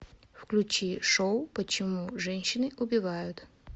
включи шоу почему женщины убивают